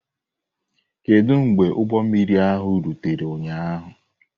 Kedu mgbe ụgbọ mmiri ahụ rutere ụnyaahụ?